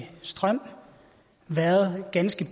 strøm har været ganske